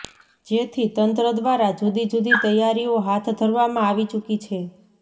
જેથી તંત્ર દ્વારા જુદી જુદી તૈયારીઓ હાથ ધરવામાં આવી ચુકી છે